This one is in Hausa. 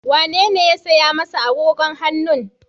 Wa ye ya saya masa agogon hannun?